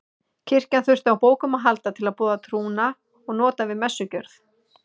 Kirkjan þurfti á bókum að halda til að boða trúna og nota við messugjörð.